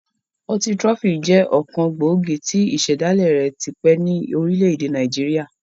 Ọtí trophy jẹ ọkan gbòógì tí ísẹ̀dàlẹ́ rẹ̀ tipẹ́ ni orílẹ̀ èdè Nàìjíríà.